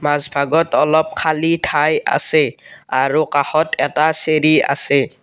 মাজভাগত অলপ খালী ঠাই আছে আৰু কাষত এটা চিৰি আছে।